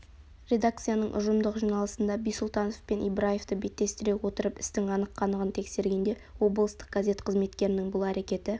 редакцияның ұжымдық жиналысында бисұлтанов пен ибраевты беттестіре отырып істің анық-қанығын тексергенде облыстық газет қызметкерінің бұл әрекеті